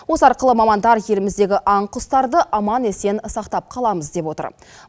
осы арқылы мамандар еліміздегі аң құстарды аман есен сақтап қаламыз деп отыр